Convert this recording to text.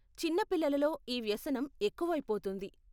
చిన్న పిల్లలలో ఈ వ్యసనం ఎక్కువయిపోతోంది.